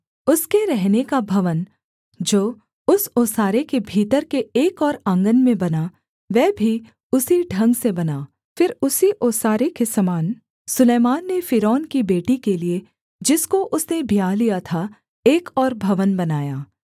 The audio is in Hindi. उसके रहने का भवन जो उस ओसारे के भीतर के एक और आँगन में बना वह भी उसी ढंग से बना फिर उसी ओसारे के समान से सुलैमान ने फ़िरौन की बेटी के लिये जिसको उसने ब्याह लिया था एक और भवन बनाया